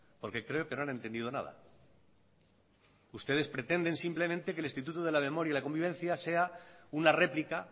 porque creo que no han entendido nada ustedes pretenden simplemente que el instituto de la memoria y la convivencia sea una réplica